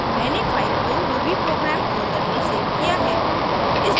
मैंने फाइल को ruby program folder में सेव किया है